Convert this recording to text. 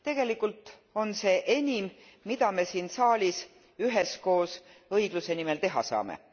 Tegelikult on see enim, mida me siin saalis üheskoos õigluse nimel teha saame.